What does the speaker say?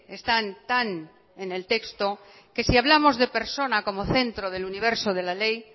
están tan en el texto que si hablamos de persona como centro del universo de la ley